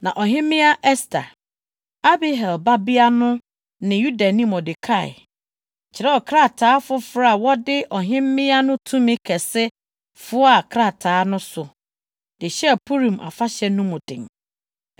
Na Ɔhemmea Ɛster, Abihail babea no ne Yudani Mordekai kyerɛw krataa foforo a wɔde ɔhemmea no tumi kɛse foaa krataa no so de hyɛɛ Purim afahyɛ no mu den.